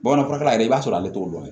Bamanan furakɛla yɛrɛ i b'a sɔrɔ ale t'o dɔn